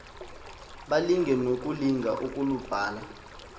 balinge nokulinga ukulubhala